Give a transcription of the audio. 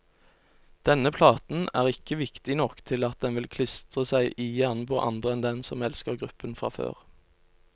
Denne platen er ikke viktig nok til at den vil klistre seg i hjernen på andre enn dem som elsker gruppen fra før.